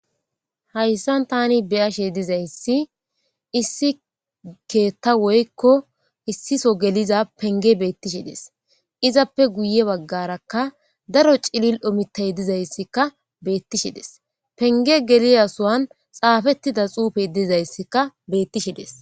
hayssan tani beyashe dizayssi issi keeta woykko issiso geliza penge beettishides izappe guye baggarakka daro cilil omitay dizayssikka beettishides penge geliya suwan xaafettida xuufey dizayssikka beettishides